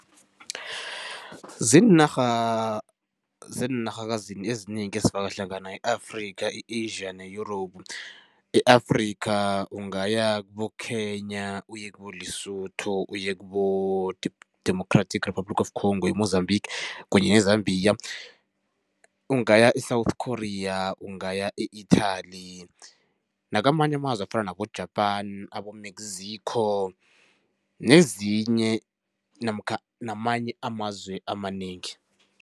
Ziinarha zeenarhakazini ezinengi ezifaka hlangana i-Afrika, i-Asia ne-Europe. I-Afrika ungaya kibo-Kenya, uye kiboLesotho uye kubo Democratic Republic of Congo, eMozambique kunye neZambia. Ungaya e-South Korea, ungaya e-Italy nakamanye amazwe afana nabo-Japan, abo-Mexico nezinye namkha namanye amazwe amanengi.